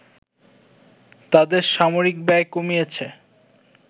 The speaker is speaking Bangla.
তাদের সামরিক ব্যয় কমিয়েছে